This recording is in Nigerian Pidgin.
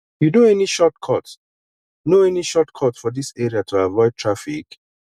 you know any shortcut know any shortcut for dis area to avoid traffic